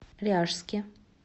ряжске